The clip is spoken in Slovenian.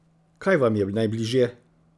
Kaj vam je najbližje?